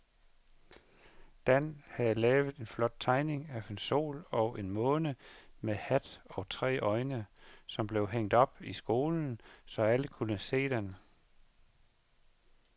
Dan havde lavet en flot tegning af en sol og en måne med hat og tre øjne, som blev hængt op i skolen, så alle kunne se den.